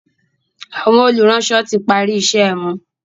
Àwọn olùránsọ tí pari iṣé wón.